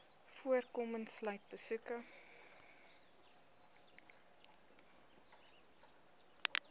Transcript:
voorkoming sluit besoeke